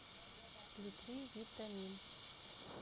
включи витамин